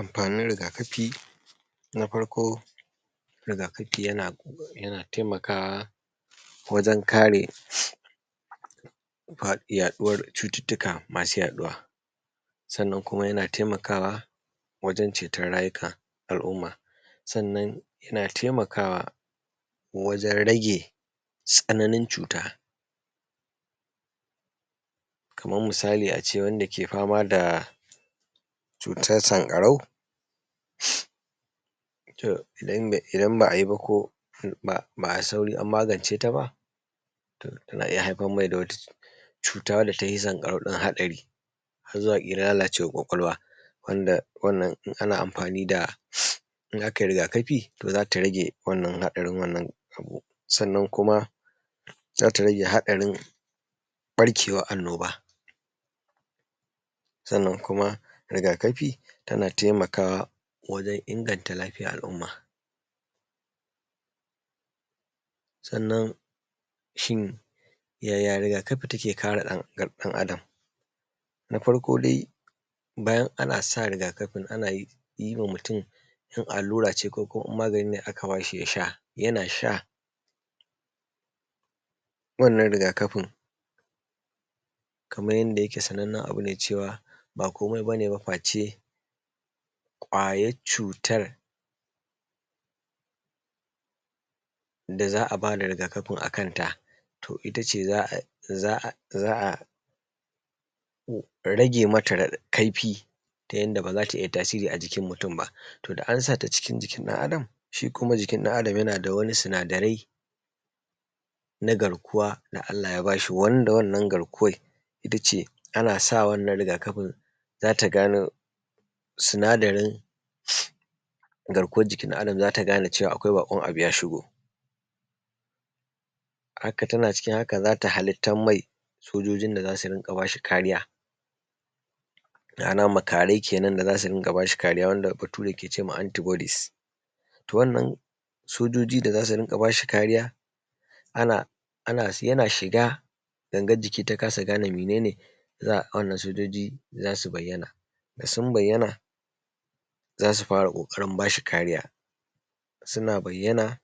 Amfanin rigakafi na farko, rigakafi yana taimakawa wajen kare yaɗuwar cututtuka masu yaɗuwa. sannan kuma yana taimakawa wajen ceton rayuka al’umma sannan yana taimakawa wajen rage tsananin cuta kaman misali a ce wanda ke fama da cutan sanƙarau idan ba a yi ba ko ba ai sauri an magance ta ba, to tana iya haddasar da wani cuta wanda tahi sanƙarau ɗin haɗari har zuwa iya lalacewar kwakwalwa wanda wannan in ana amfani da, in a kai rigakafi za ta rage wannan haɗarin wannan abu. sannan kuma za ta rage haɗarin barkewan annoba. Sannan kuma rigakafi tana taimakawa wajen inganta lafiyar al’umma. Sannan shin yaya rigakafi take kare ɗan’Adam? Na farko dai bayan ana sa rigakafin ana yi wa mutum in allura ce ko kuma in magani ne aka ba shi ya sha yana sha wannan rigakafin kaman yanda ake sanannnen abu ne cewa bakomai ba ne face kwayar cutar da za a ba da rigakafin akanta. To, ita ce za a rage mata kaifi ta yanda ba za ta iya tasiri a jikin mutum ba, to dan an sata a jikin ɗan’Adam shi kuma jikin ɗan’Adam yana da wani sinadarai na garkuwa da Allah ya ba shi wanda wannan garkuwan ita ce ana sa wannan rigakafin za ta gane sinadarin garkuwan jikin ɗan’Adam za ta gane akwai bakon abu ya shigo haka tana cikin haka za ta halittan mai sojojin da za su riƙa ba shi kariya nana makarai kenan wanda Bature ke ce ma anti bodis. To, wannan sojoji da za su riƙa ba shi kariya yana shiga gangan jiki ta kasa gane mene ne za a auna sojoji, za su bayyana da sun bayyana za su fara ƙoƙarin ba shi kariya, suna bayyana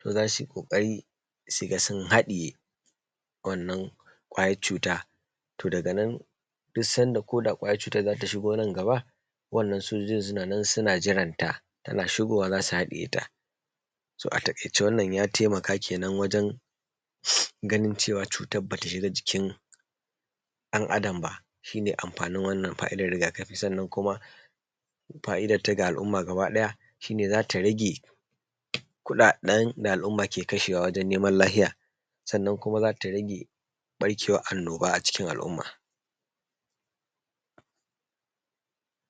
to za su yi ƙoƙari su ga sun haɗiye to wannan kwayan cutan, to daganan duk sanda kwayan cutan za ta shigo nan gaba waɗannan kwayoyin suna nan suna jiranta, tana shigowa za su haɗiye ta. So a taƙaice wannan ya taimaka wajen ganin cewa cutar ba ta shiga jikin ɗan’Adam ba shi ne amfanin fa’idar rigakafi, sannan kuma fa’idarta ga al’umma gaba ɗaya shi ne za ta rage kuɗaɗen da al’umma ke kashewa wajan neman lahiya sannan kuma za ta rage ɓarkewar annoba a cikin al’umma.